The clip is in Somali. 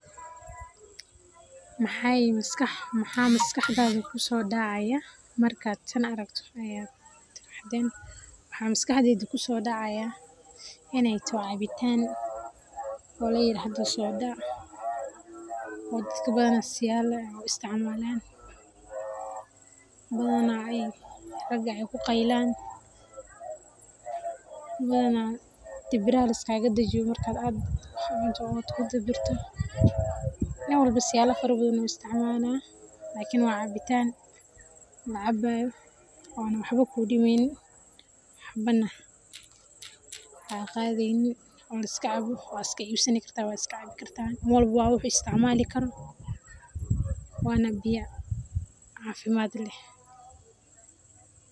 Maxay masqaxdatha kusodactay marka taani aragtoh, maxa MasQaxdeyda kusodacaya inay tahoo cabitaan daliayat socdaoh dadkana siyabo bathan u isticmalan bathan raga kuqailan dibiraha lisgagadajiyoh markat wax cuntoh oo kudibartoh, danwalbo siyabo u isticmalÃ h, iklni wacabitaan lacabayoh oo waxbo kudimeynin waxbana kaqatheynin oo liskacabo wa iska haysani kataah wa wax u isticmali karoh, wana biyaa cafimad leeh.